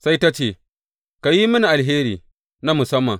Sai ta ce, Ka yi mini alheri na musamman.